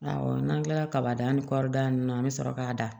Awɔ n'an kila la kaba danni kɔɔri dan na an bɛ sɔrɔ k'a da